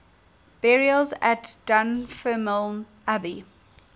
burials at dunfermline abbey